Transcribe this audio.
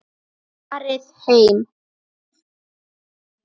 Farið heim!